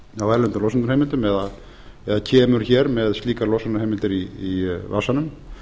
á erlendum losunarheimildum eða kemur hér með slíkar losunarheimildir í vasanum